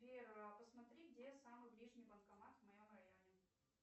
сбер а посмотри где самый ближний банкомат в моем районе